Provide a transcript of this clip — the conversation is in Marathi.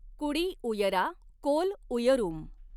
कुड़ी उयरा कोल उयरूम